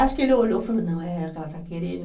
Acho que ele olhou e falou, não, é o que ela está querendo.